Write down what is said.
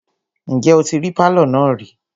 Ǹjẹ́ o tí rí pálọ̀ náà rí?